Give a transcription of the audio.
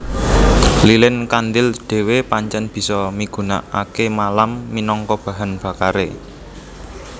Lilin kandhil dhéwé pancèn bisa migunakaké malam minangka bahan bakaré